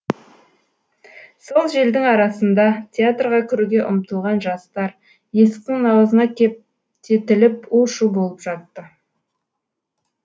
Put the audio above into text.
сол желдің арасында театрға кіруге ұмтылған жастар есіктің аузына кептетіліп у шу болып жатты